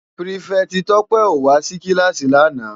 Pirifèti Tope ó wá si kilási làná